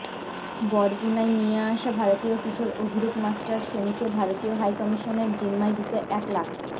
বরগুনায় নিয়ে আসা ভারতীয় কিশোর অভিরূপ মাস্টার সনুকে ভারতীয় হাইকমিশনের জিম্মায় দিতে এক লাখ